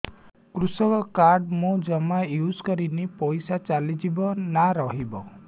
କୃଷି କାର୍ଡ ମୁଁ ଜମା ୟୁଜ଼ କରିନି ପଇସା ଚାଲିଯିବ ନା ରହିବ